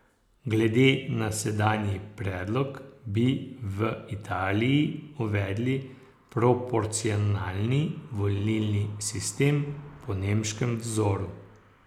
Glede na sedanji predlog bi v Italiji uvedli proporcionalni volilni sistem po nemškem vzoru.